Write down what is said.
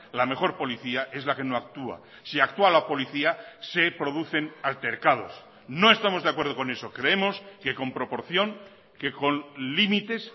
la mejor policía es la que no actúa si actúa la policía se producen altercados no estamos de acuerdo con eso creemos que con proporción que con límites